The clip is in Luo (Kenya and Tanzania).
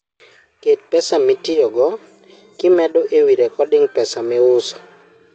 ket pesa maitiyogo kimedo e wii recording pesa miuso